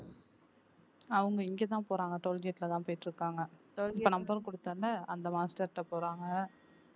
அவங்க இங்கதான் போறாங்க toll gate ல தான் போயிட்டு இருக்காங்க இப்ப number குடுத்த உடனே அந்த master ட்ட போறாங்க